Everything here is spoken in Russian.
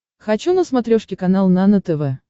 хочу на смотрешке канал нано тв